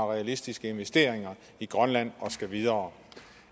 realistiske investeringer i grønland og skal videre